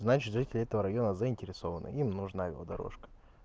значит жители этого района заинтересованы им нужна его дорожка